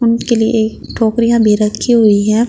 उनके लिए टोकरियां भी रखी हुई है।